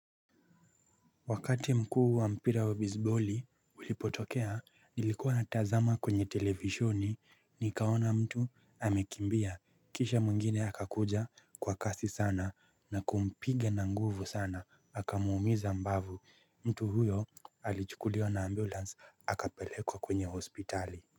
Wakati mkuu wa mpira wa bisiboli ulipotokea nilikuwa natazama kwenye televishoni nikaona mtu amekimbia kisha mwingine akakuja kwa kasi sana na kumpiga na nguvu sana akamuumiza mbavu mtu huyo alichukuliwa na ambulance akapelekwa kwenye hospitali.